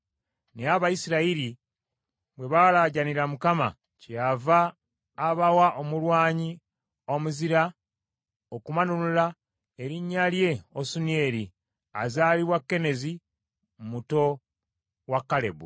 Naye Abayisirayiri bwe baalaajanira Mukama , kyeyava abawa omulwanyi omuzira okubanunula erinnya lye Osunieri azaalibwa Kenezi muto wa Kalebu.